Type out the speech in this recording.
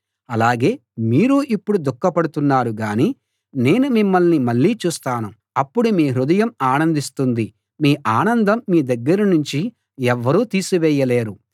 అలాగే మీరు ఇప్పుడు దుఖపడుతున్నారు గాని నేను మిమ్మల్ని మళ్ళీ చూస్తాను అప్పుడు మీ హృదయం ఆనందిస్తుంది మీ ఆనందం మీ దగ్గరనుంచి ఎవ్వరూ తీసివేయలేరు